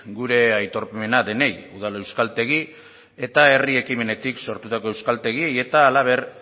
gure aitormena denei udal euskaltegi eta herri ekimenetik sortutako euskaltegiei eta halaber